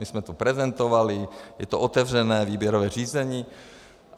My jsme to prezentovali, je to otevřené výběrové řízení.